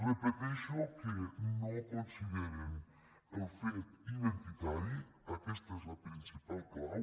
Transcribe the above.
repeteixo que no consideren el fet identitari aquesta és la principal clau